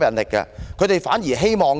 他們可能反而是"後